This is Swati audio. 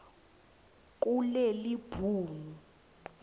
kulelibhuku